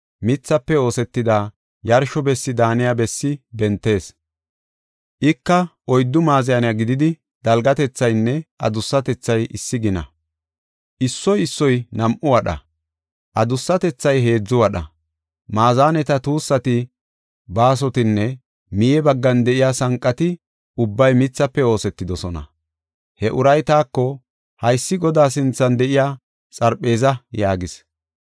mithafe oosetida yarsho bessi daaniya bessi bentees. Ika oyddu maazaney gididi, dalgatethaynne adussatethay issi gina; issoy issoy nam7u wadha; adussatethay heedzu wadha. Maazaneta tuussati, baasotinne miye baggan de7iya sanqati ubbay mithafe oosetidosona. He uray taako, “Haysi Godaa sinthan de7iya xarpheeza” yaagis.